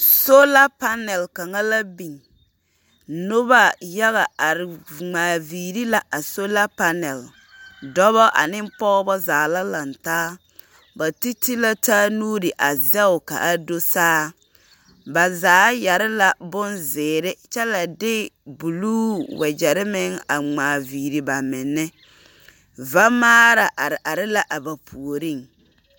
Soola panaal kaŋa la biŋ. Noba yaga are ŋmaa viiri la a sola panaal. Dͻbͻ ane pͻgebͻ zaa la lantaa. Ba te te la taa nuuri a zԑge ka a do saa. Ba zaa yԑre la bonzeere kyԑ la de buluu wagyԑre meŋ a ŋmaa viiri ba meŋԑ. Vamaara are are la a ba puoriŋ.